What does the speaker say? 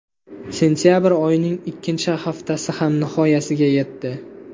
Sentabr oyining ikkinchi haftasi ham nihoyasiga yetdi.